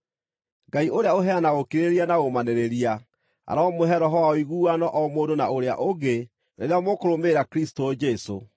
Ngai ũrĩa ũheanaga ũkirĩrĩria na ũũmanĩrĩria aromũhe roho wa ũiguano o mũndũ na ũrĩa ũngĩ rĩrĩa mũkũrũmĩrĩra Kristũ Jesũ,